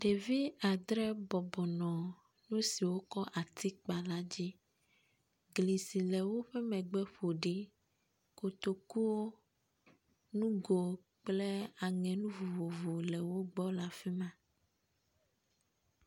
Ɖevi adre bɔbɔnɔ nusiwo wokɔ ati kpa la dzi, gli si le woƒe megbe ƒo ɖi, kotokuwo, nugo kple aŋenu vovovowo le wogbɔ le afima.